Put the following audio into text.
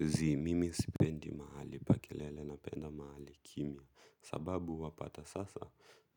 Zii. Mimi sipendi mahali pa kelele napenda mahali kimya sababu wapata sasa